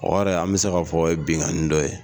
O yɛrɛ an bi se k'a fɔ o ye binkanni dɔ ye.